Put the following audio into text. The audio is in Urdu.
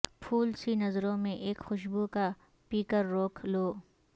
پھول سی نظروں میں اک خوشبو کا پیکر روک لوں